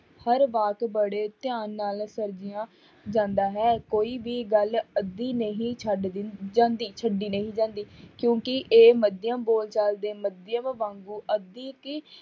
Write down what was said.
ਹਰ ਬਾਤ ਬੜੇ ਧਿਆਨ ਨਾਲ ਜਾਂਦਾ ਹੈ ਕੋਈ ਵੀ ਗੱਲ ਅੱਧੀ ਨਹੀਂ ਛੱਡ ਜਾਂਦੀ ਛੱਡੀ ਨਹੀਂ ਜਾਂਦੀ ਕਿਉਂਕਿ ਇਹ ਮਾਧਿਅਮ ਬੋਲਚਾਲ ਦੇ ਮਾਧਿਅਮ ਵਾਂਗੂ